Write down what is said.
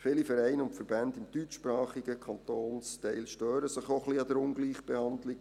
Viele Vereine und Verbände im deutschsprachigen Kantonsteil stören sich auch ein wenig an der Ungleichbehandlung.